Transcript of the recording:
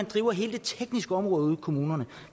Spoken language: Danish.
driver hele det tekniske område ude i kommunerne